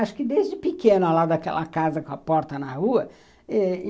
Acho que desde pequena lá daquela casa com a porta na rua.